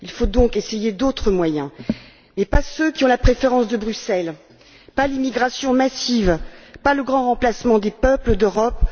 Il faut donc essayer d'autres moyens mais pas ceux qui ont la préférence de Bruxelles pas l'immigration massive, pas le grand remplacement des peuples d'Europe.